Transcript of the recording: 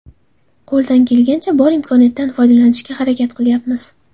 Qo‘ldan kelgancha, bor imkoniyatdan foydalanishga harakat qilyapmiz.